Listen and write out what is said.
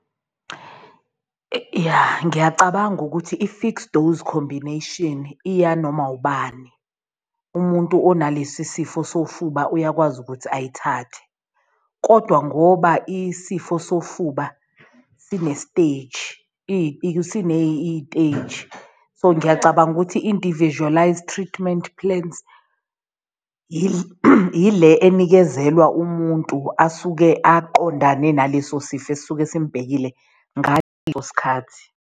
Yah ngiyacabanga ukuthi i-fixed-dose combination iya noma ubani umuntu onalesisifo sofuba uyakwazi ukuthi ayithathe kodwa ngoba isifo sofuba sine-stage sineyiteji. So ngiyacabanga ukuthi individualized treatment plans ile enikezelwa umuntu asuke aqondane naleso sifo esisuke simbhekile sikhathi.